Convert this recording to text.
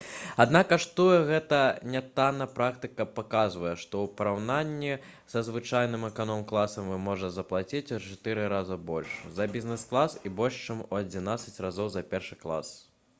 аднак каштуе гэта нятанна практыка паказвае што ў параўнанні са звычайным эканом-класам вы можаце заплаціць у чатыры разы больш за бізнес-клас і больш чым у адзінаццаць разоў за першы клас